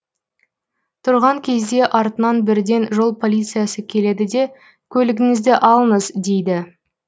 тұрған кезде артынан бірден жол полициясы келеді де көлігіңізді алыңыз дейді